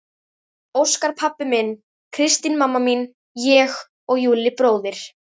Óskar pabbi minn, Kristín mamma mín, ég og Júlli bróðir.